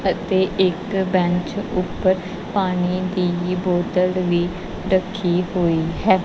ਅਤੇ ਇੱਕ ਬੈਂਚ ਊਪਰ ਪਾਣੀ ਦੀ ਬੋਤਲ ਵੀ ਰੱਖੀ ਹੋਈ ਹੈ।